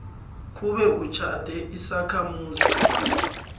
kube utjhade isakhamuzi